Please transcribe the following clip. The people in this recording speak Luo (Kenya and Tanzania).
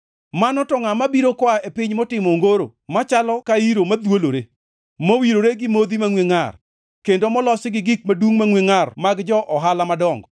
Mano to ngʼa mabiro koa e piny motimo ongoro machalo ka iro madhwolore, mowirore gi modhi mangʼwe ngʼar, kendo molosi gi gik madungʼ mangʼwe ngʼar mag jo-ohala madongo?